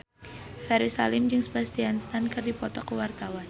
Ferry Salim jeung Sebastian Stan keur dipoto ku wartawan